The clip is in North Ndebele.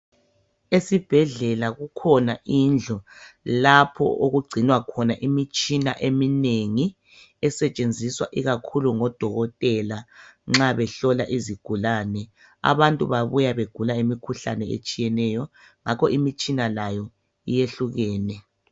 Esibhedlela kukhona indlu lapho okugcinwa khona imitshina eminengi esetshenziswa ikakhulu ngobodokotela nxa behlola izigulane. Abantu babuya begula imikhuhlane etshiyeneyo ngakho imitshina layo yehlukene